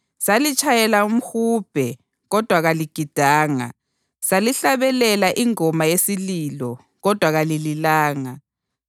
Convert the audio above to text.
‘Salitshayela umhubhe, kodwa kaligidanga; salihlabelela ingoma yesililo kodwa kalililanga.’